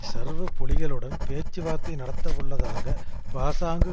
சர்வ புலிகளுடன் பேச்சுவார்த்தை நடத்தவுள்ளதாக பாசாங்கு